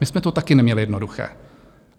My jsme to taky neměli jednoduché.